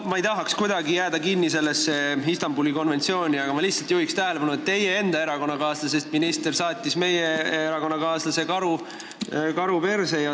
Ma ei tahaks kuidagi jääda kinni sellesse Istanbuli konventsiooni, aga ma juhin lihtsalt tähelepanu, et teie enda erakonnakaaslasest minister saatis meie erakonnakaaslase karu persse.